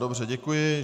Dobře, děkuji.